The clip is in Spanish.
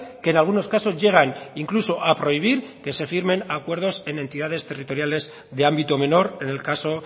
que en algunos casos llegan incluso a prohibir que se firmen acuerdos en entidades territoriales de ámbito menor en el caso